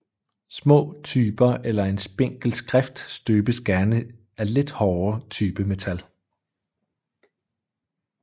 Små typer eller en spinkel skrift støbes gerne af lidt hårdere typemetal